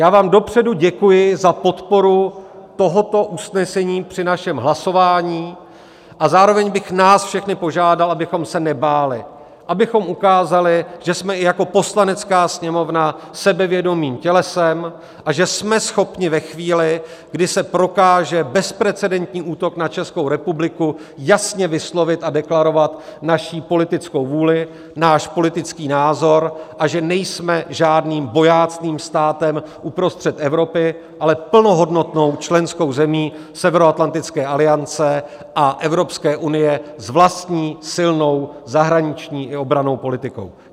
Já vám dopředu děkuji za podporu tohoto usnesení při našem hlasování a zároveň bych nás všechny požádal, abychom se nebáli, abychom ukázali, že jsme i jako Poslanecká sněmovna sebevědomým tělesem a že jsme schopni ve chvíli, kdy se prokáže bezprecedentní útok na Českou republiku, jasně vyslovit a deklarovat naši politickou vůli, náš politický názor, a že nejsme žádným bojácným státem uprostřed Evropy, ale plnohodnotnou členskou zemí Severoatlantické aliance a Evropské unie s vlastní silnou zahraniční i obrannou politikou.